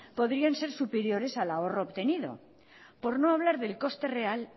podrían ser superiores al ahorro obtenido por no hablar del coste real